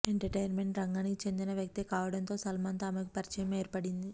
entertainment రంగానికి చెందిన వ్యక్తే కావడంతో సల్మాన్ తో ఆమెకు పరిచయం ఏర్పడింది